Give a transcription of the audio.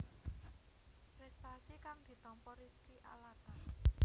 Prestasi kang ditampa Rizky Alatas